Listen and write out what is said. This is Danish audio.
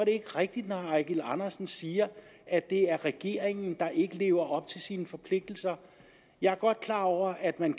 ikke rigtigt når herre eigil andersen siger at det er regeringen der ikke lever op til sine forpligtelser jeg er godt klar over at man